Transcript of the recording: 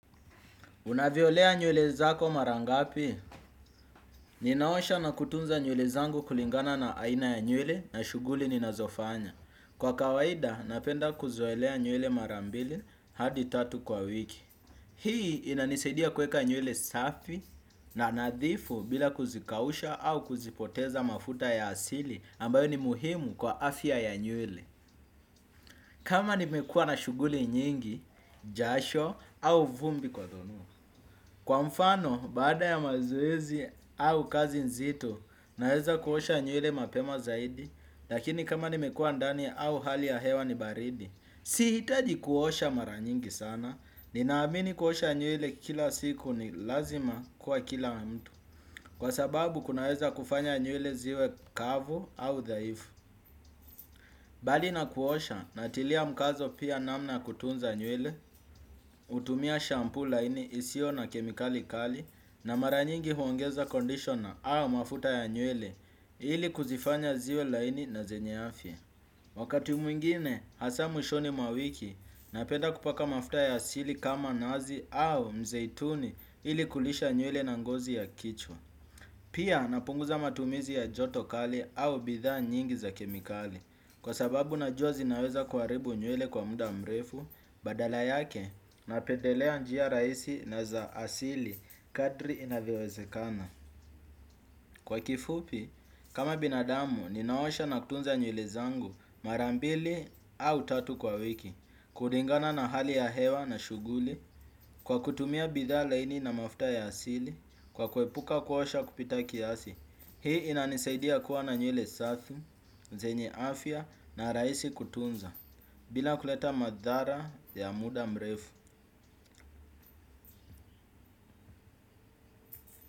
Unavyolea nywele zako mara ngapi? Ninaosha na kutunza nyule zangu kulingana na aina ya nywele na shughuli ninazofanya. Kwa kawaida, napenda kuzoelea nywele mara mbili, hadi tatu kwa wiki. Hii, inanisaidia kweka nywele safi na nadhifu bila kuzikausha au kuzipoteza mafuta ya asili ambayo ni muhimu kwa afya ya nywele. Kama nimekua na shughuli nyingi, jasho au vumbi kwa tonu. Kwa mfano, baada ya mazoezi au kazi nzito, naeza kuosha nywele mapema zaidi, lakini kama nimekua ndani au hali ya hewa ni baridi. Si hitaji kuosha mara nyingi sana, ninaamini kuosha nywele kila siku ni lazima, kwa kila mtu. Kwa sababu, kunaeza kufanya nywele ziwe kavu, au dhaifu. Bali na kuosha, natilia mkazo pia, namna kutunza nywele, utumia shampoo laini isio na kemikali kali na mara nyingi huongeza conditioner au mafuta ya nywele, ili kuzifanya ziwe laini na zenye afya. Wakati mwingine, hasa mwishoni mwa wiki, napenda kupaka mafuta ya asili kama nazi au, mzeituni ili kulisha nywele na ngozi ya kichwa. Pia, napunguza matumizi ya joto kali au bithaa nyingi za kemikali. Kwa sababu najua zinaweza kuaribu nywele kwa muda mrefu, badala yake, napedelea njia raisi na za asili kadri, inavyowezekana. Kwa kifupi, kama binadamu, ninaosha na kutunza nywele zangu mara mbili, au tatu kwa wiki. Kuringana na hali ya hewa na shughuli, kwa kutumia bithaa laini na mafta ya asili, kwa kuepuka kuosha kupita kiasi. Hii inanisaidia kuwa na nywele safi, zenye afya na raisi kutunza. Bila kuleta madhara ya muda mrefu.